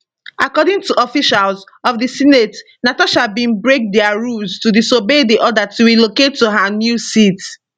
according to officials of di senate natasha bin break dia rules to disobey di order to relocate to her new seat